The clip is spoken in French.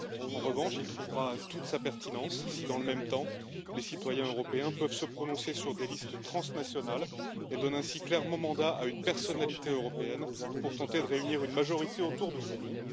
En revanche, il trouvera toute sa pertinence si, dans le même temps, les citoyens européens peuvent se prononcer sur des listes transnationales et donnent ainsi clairement mandat à une personnalité européenne pour tenter de réunir une majorité autour de son nom.